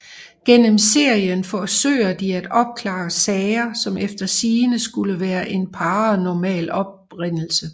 Gennem serien forsøger de at opklare sager som efter sigende skulle være af paranormal oprindelse